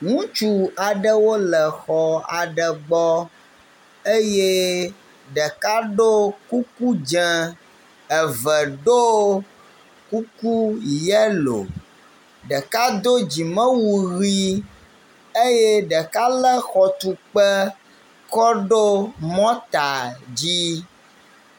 Ŋutsu aɖewo le xɔ aɖe gbɔ eye ɖeka ɖo kuku dze, eve ɖo kuku yelo, ɖeka do dzimewu ʋɛ̃eye ɖeka lé xɔtukpe kɔ ɖo mɔta dzi.